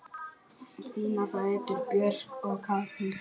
Þínar dætur, Björg og Katrín.